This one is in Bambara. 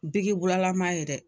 Biki bulalama ye dɛ